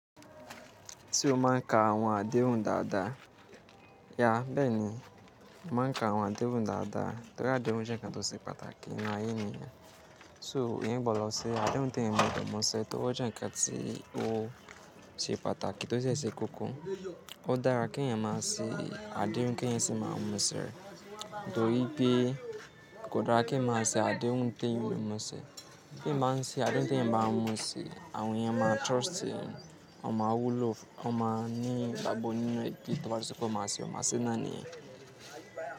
Tí o máa ń ka àwọn àdéhùn dáadáa, yeah, bẹ́ẹ̀ni, máa ń ka àwọn àdéhùn dáadáa torí àdéhùn jẹ́ ǹkan tó ṣe pàtàkì nínú ayé ènìyàn. So èèyàn gbọ́dọ̀ ṣe àdéhùn tí èèyàn gbọ́dọ̀ mú ṣe tó bá jẹ́ ǹkan tí ó ṣe pàtàkì tó dé ṣe kókó. Ó dára kí èèyàn máa ṣe àdéhùn kí èèyàn sì máa mú ṣẹ̀. Torí pé kò dára kí ǹmá sì àdéhùn tí èèyàn ò lè mú ṣe. Tí èèyàn bá ń ṣe àdéhùn tí èèyàn bá mú ṣe, àwọn èèyàn máa trust è, wọ́n máa wù lo, wọ́n máa ní ìgbàgbọ́ nínú è tí o bá ti sọ pé o máa ṣe, o máa ṣe náání ẹ̀.